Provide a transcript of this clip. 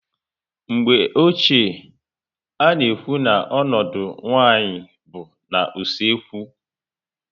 Mgbe ochie, a na ekwu na ọnọdụ nwaanyị bụ na usekwu